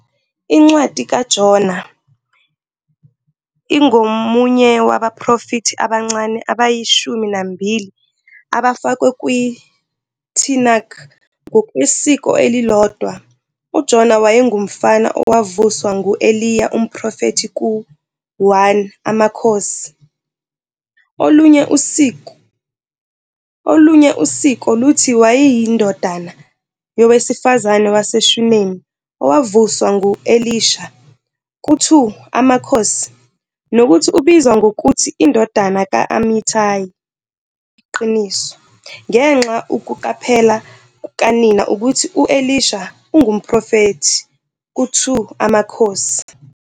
Incwadi kaJona, ingomunye wabaprofethi abancane abayishumi nambili abafakwe kwiTanakh. Ngokwesiko elilodwa, uJona wayengumfana owavuswa ngu-Eliya umprofethi ku-1 AmaKhosi. Olunye usiko, olunye usiko luthi wayeyindodana yowesifazane waseShunemi owavuswa ngu-Elisha ku-2 AmaKhosi nokuthi ubizwa ngokuthi "indodana ka-Amithayi ", "Iqiniso", ngenxa ukuqaphela kukanina ukuthi u-Elisha ungumprofethi ku-2 AmaKhosi.